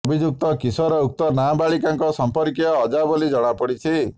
ଅଭିଯୁକ୍ତ କିଶୋର ଉକ୍ତ ନାବାଳିକାଙ୍କ ସମ୍ପର୍କୀୟ ଅଜା ବୋଲି ଜଣାପଡ଼ିଛି